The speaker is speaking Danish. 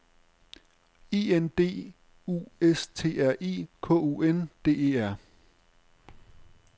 I N D U S T R I K U N D E R